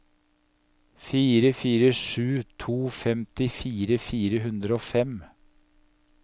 fire fire sju to femtifire fire hundre og fem